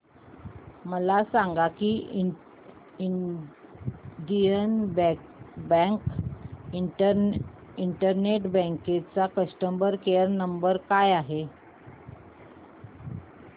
मला सांगा की इंडियन बँक इंटरनेट बँकिंग चा कस्टमर केयर नंबर काय आहे